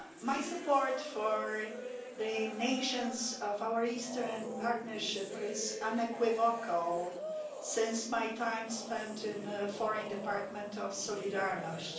My support for the nations of our Eastern Partnership is unequivocal since my time spent in the foreign department of Solidarnosc.